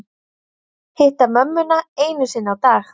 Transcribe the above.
Hitta mömmuna einu sinni á dag